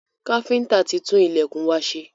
Káfíntà tí ń tun ilẹ̀kùn wa ṣe.